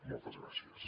moltes gràcies